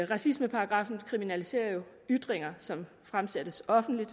racismeparagraffen kriminaliserer jo ytringer som fremsættes offentligt